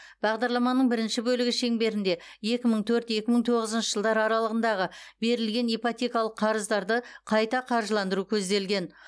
бағдарламаның бірінші бөлігі шеңберінде екі мың төрт екі мың тоғызыншы жылдар аралығындағы берілген ипотекалық қарыздарды қайта қаржыландыру көзделген